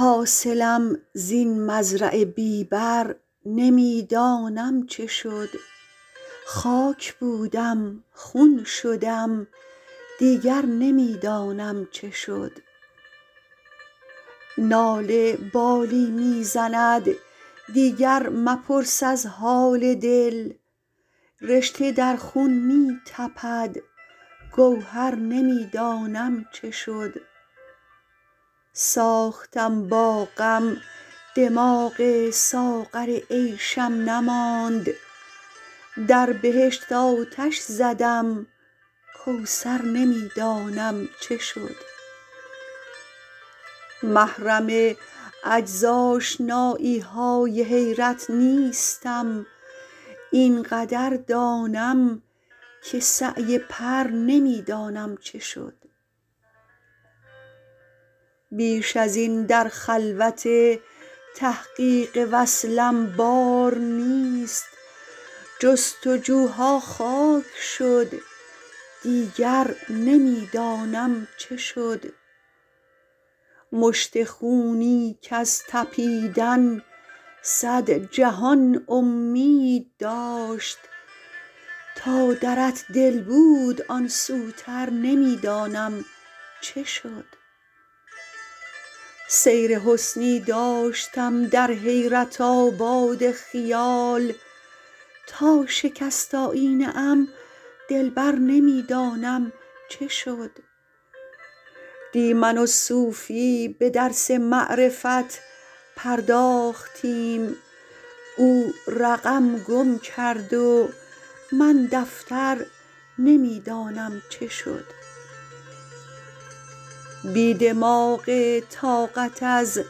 حاصلم زین مزرع بی بر نمی دانم چه شد خاک بودم خون شدم دیگر نمی دانم چه شد ناله بالی می زند دیگر مپرس از حال دل رشته در خون می تپد گوهر نمی دانم چه شد ساختم با غم دماغ ساغر عیشم نماند در بهشت آتش زدم کوثر نمی دانم چه شد محرم عجزآشنایی های حیرت نیستیم اینقدر دانم که سعی پر نمی دانم چه شد بیش از این در خلوت تحقیق وصلم بار نیست جستجوها خاک شد دیگر نمی دانم چه شد مشت خونی کز تپیدن صد جهان امید داشت تا در دل بود آن سوتر نمی دانم چه شد سیر حسنی داشتم در حیرت آباد خیال تا شکست آیینه ام دلبر نمی دانم چه شد دی من و صوفی به درس معرفت پرداختیم او رقم گم کرد و من دفتر نمی دانم چه شد بی دماغ طاقت از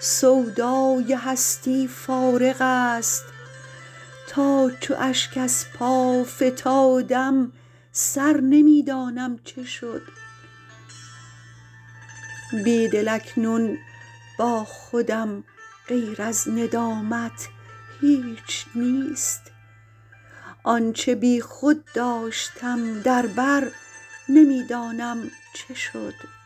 سودای هستی فارغ است تا چو اشک از پا فتادم سر نمی دانم چه شد بیدل اکنون با خودم غیر از ندامت هیچ نیست آنچه بی خود داشتم در بر نمی دانم چه شد